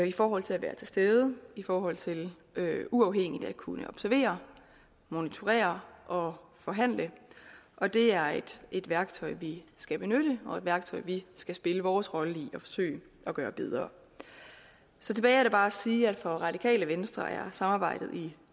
i forhold til at være til stede i forhold til uafhængigt at kunne observere monitorere og forhandle og det er et værktøj vi skal benytte og et værktøj vi skal spille vores rolle i at forsøge at gøre bedre tilbage er der bare at sige at for radikale venstre er samarbejdet i